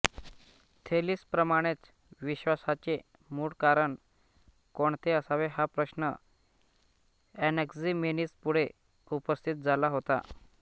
थेलीसप्रमाणेच विश्वाचे मूळ कारण कोणते असावे हा प्रश्न एनॅक्झिमेनीसपुढे उपस्थित झाला होता